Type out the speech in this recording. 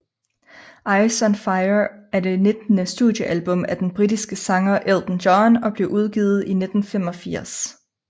Ice on Fire er det nittende studiealbum af den britiske sanger Elton John og blev udgivet i 1985